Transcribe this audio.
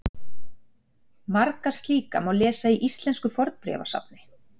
Marga slíka má lesa í Íslensku fornbréfasafni.